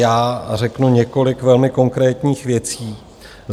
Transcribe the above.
Já řeknu několik velmi konkrétních věcí.